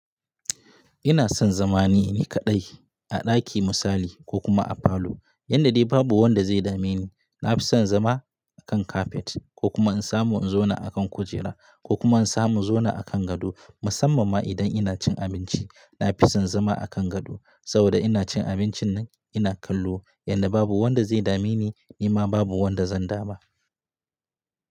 Ina son zama ne nikaɗai a ɗaki misali ko kuma a falo yanda dai babu wanda zai dame ni. Na fi son zama a kan kafet ko kuma in samu in zauna a kan kujera ko kuma in samu in zauna a kan gado. Musamman ma idan ina cin abinci, na fi son zama a kan gado saboda ina cin abincinnan kallo, yanda babu wanda zai dame ni, ni ma babu wanda zan dama.